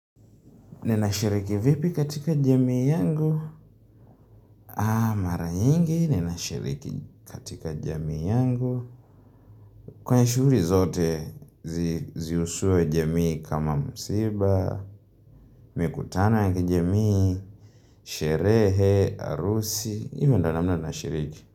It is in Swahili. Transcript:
Ninashiriki vipi katika jamii yangu Kwa nyiingi ninashiriki katika jamii yangu kwenye shughuli zote ziusuwe jamii kama msiba mikutano yaki jamii Sherehe, harusi ilo ndo namna nashiriki.